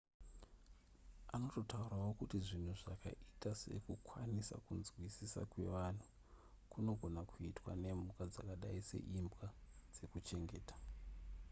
anototaurawo kuti zvinhu zvakaita sekukwanisa kunzwisisa kwevanhu kunogona kuitwa nemhuka dzakadai seimbwa dzekuchengeta